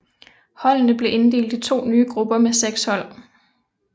Holdene blev inddelt i to nye grupper med seks hold